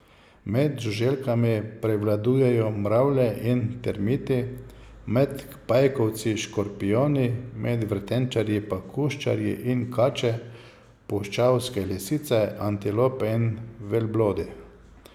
Med žuželkami prevladujejo mravlje in termiti, med pajkovci škorpijoni, med vretenčarji pa kuščarji in kače, puščavske lisice, antilope in velblodi.